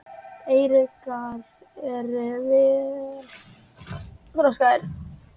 Eyruggar eru vel þroskaðir.